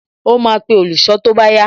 Ó máa pe olùṣọ́ tó bá yá